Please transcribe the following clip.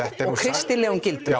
kristilegum gildum